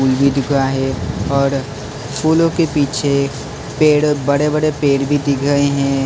फूल भी दिख रहा है और फूलों के पीछे पेड़ बड़े -बड़े पेड़ भी दिख रहे है।